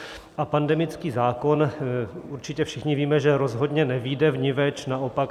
A pandemický zákon - určitě všichni víme, že rozhodně nevyjde vniveč, naopak.